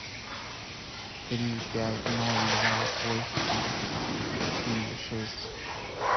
три пять ноль два восемь четыре шесть